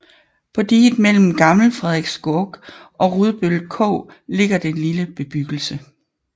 På diget mellem Gammel Frederikskog og Rudbøl Kog ligger den lille bebyggelse